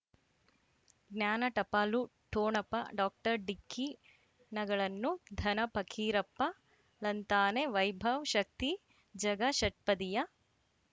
ಜ್ಞಾನ ಟಪಾಲು ಠೊಣಪ ಡಾಕ್ಟರ್ ಢಿಕ್ಕಿ ಣಗಳನು ಧನ ಫಕೀರಪ್ಪ ಳಂತಾನೆ ವೈಭವ್ ಶಕ್ತಿ ಝಗಾ ಷಟ್ಪದಿಯ